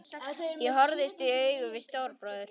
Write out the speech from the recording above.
Ég horfðist í augu við Stóra bróður.